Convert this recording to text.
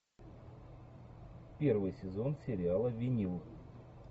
первый сезон сериала винил